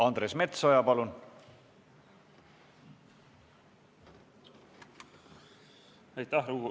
Andres Metsoja, palun!